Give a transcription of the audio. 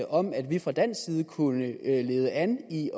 om at vi fra dansk side kunne lede an i